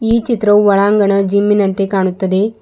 ಈ ಚಿತ್ರವು ಒಳಾಂಗಣ ಜಿಮ್ಮಿನಂತೆ ಕಾಣುತ್ತದೆ.